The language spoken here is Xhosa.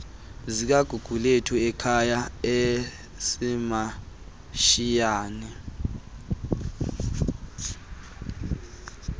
zikagugulethu ekhala esimantshiyane